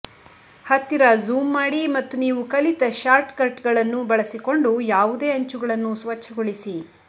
ಹತ್ತಿರ ಜೂಮ್ ಮಾಡಿ ಮತ್ತು ನೀವು ಕಲಿತ ಶಾರ್ಟ್ಕಟ್ಗಳನ್ನು ಬಳಸಿಕೊಂಡು ಯಾವುದೇ ಅಂಚುಗಳನ್ನು ಸ್ವಚ್ಛಗೊಳಿಸಿ